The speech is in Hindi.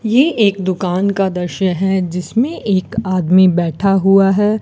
ये एक दुकान का दृश्य है जिसमें एक आदमी बैठा हुआ है।